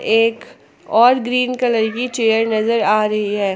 एक और green colour की चेयर नजर आ रही है।